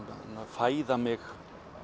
fæða mig